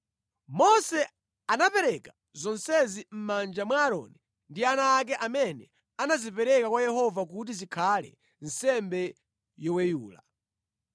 Mose anapereka zonsezi mʼmanja mwa Aaroni ndi ana ake amene anazipereka kwa Yehova kuti zikhale nsembe yoweyula.